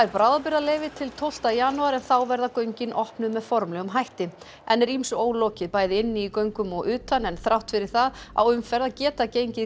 bráðabirgðaleyfi til tólfta janúar en þá verða göngin opnuð með formlegum hætti enn er ýmsu ólokið bæði inni í göngum og utan en þrátt fyrir það á umferð að geta gengið